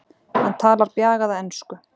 Hann talar bjagaða ensku.